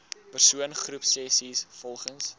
persoon groepsessies volgens